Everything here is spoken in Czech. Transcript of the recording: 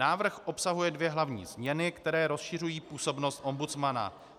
Návrh obsahuje dvě hlavní změny, které rozšiřují působnost ombudsmana.